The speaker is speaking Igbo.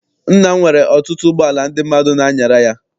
Nna m nwere ọtụtụ ụgbọala ndị mmadụ n'anyara ya.